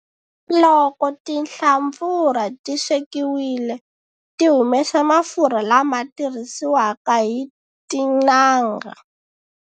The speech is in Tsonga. Loko tinhlampfurha ti swekiwile ti humesa mafurha, lama tirhisiwaka hi tin'anga.